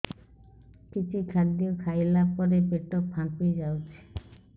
କିଛି ଖାଦ୍ୟ ଖାଇଲା ପରେ ପେଟ ଫାମ୍ପି ଯାଉଛି